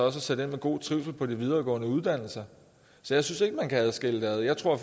at sætte ind for god trivsel på de videregående uddannelser så jeg synes ikke man kan skille det ad jeg tror